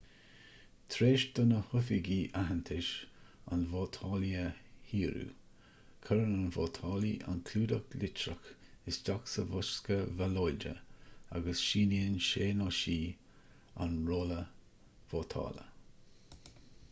tar éis do na hoifigigh aitheantas an vótálaí a fhíorú cuireann an vótálaí an clúdach litreach isteach sa bhosca ballóide agus síníonn sé/sí an rolla vótála